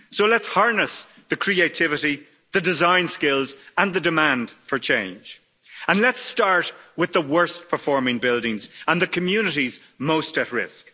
So let's harness the creativity, the design skills and the demand for change and let's start with the worst performing buildings and the communities most at risk.